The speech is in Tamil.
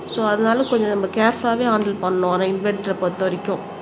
சோ அதனால கொஞ்சம் நம்ம கேர்ஃபுல்ல ஆவே ஹண்டெல் பண்ணணும் ஆனா இன்வெர்ட்டரா பொறுத்தவரைக்கும்